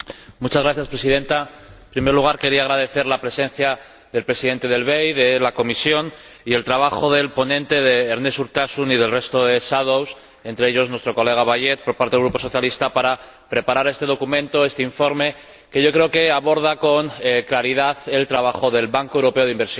Señora Presidenta, en primer lugar, quería agradecer la presencia del Presidente del BEI y de la Comisión y el trabajo del ponente, Ernest Urtasun, y de los demás ponentes alternativos ―entre ellos nuestro colega Bayet por el Grupo Socialista― para preparar este documento, este informe, que yo creo que aborda con claridad el trabajo del Banco Europeo de Inversiones.